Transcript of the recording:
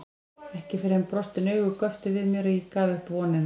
Ekki fyrr en brostin augu göptu við mér að ég gaf upp vonina.